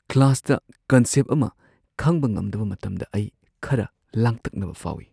ꯀ꯭ꯂꯥꯁꯇ ꯀꯟꯁꯦꯞ ꯑꯃ ꯈꯪꯕ ꯉꯝꯗꯕ ꯃꯇꯝꯗ ꯑꯩ ꯈꯔ ꯂꯥꯡꯇꯛꯅꯕ ꯐꯥꯎꯏ꯫